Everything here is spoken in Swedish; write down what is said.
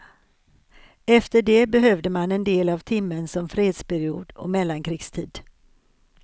Efter det behövde man en del av timmen som fredsperiod och mellankrigstid.